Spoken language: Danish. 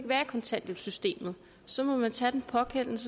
kontanthjælpssystemet så må man tage den pågældende